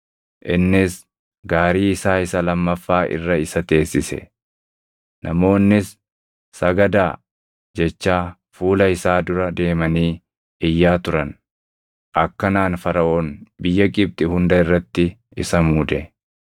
Innis gaarii isaa isa lammaffaa irra isa teessise; namoonnis, “Sagadaa!” jechaa fuula isaa dura deemanii iyyaa turan; akkanaan Faraʼoon biyya Gibxi hunda irratti isa muude.